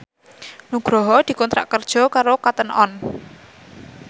Nugroho dikontrak kerja karo Cotton On